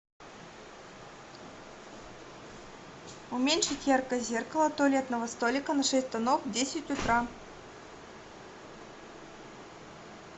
уменьшить яркость зеркала туалетного столика на шесть тонов в десять утра